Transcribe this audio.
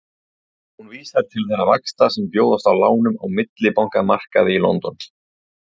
Hún vísar til þeirra vaxta sem bjóðast á lánum á millibankamarkaði í London.